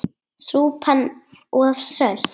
Súpan of sölt!